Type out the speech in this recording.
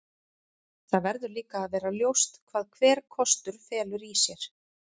Það verður líka að vera ljóst hvað hver kostur felur í sér.